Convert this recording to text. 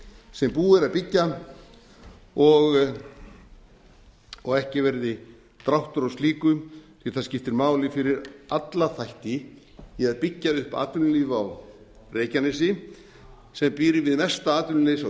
sem búið er að byggja og ekki verði dráttur á slíku því það skiptir máli fyrir alla þætti í að byggja upp atvinnulíf á reykjanesi sem býr við mesta atvinnuleysi á